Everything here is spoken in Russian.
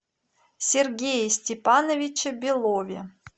сергее степановиче белове